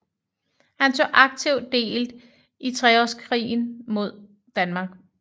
Han tog aktivt del i treårskrigen mod Danmark